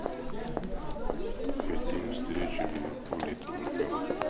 хотим встречу ливерпуль и тоттенхэма